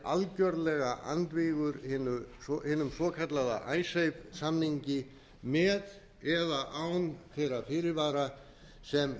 algjörlega andvígur hinum svokallaða icesave samningi með eða án þeirra fyrirvara sem